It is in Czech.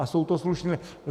A jsou to slušní.